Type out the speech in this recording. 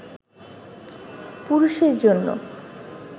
পুরুষের জন্য